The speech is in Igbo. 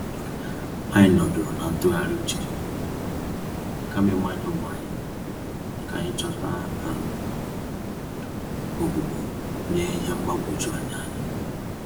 Anyị nọdụrụ na ntụgharị uche, kama ịmanye onwé anyị, k'anyi chọta um ogbugbo nye ihe mgbagwoju anya anyị.